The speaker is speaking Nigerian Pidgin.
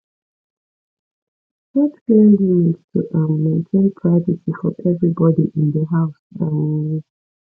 set clear limits to um maintain privacy for everybody in the house um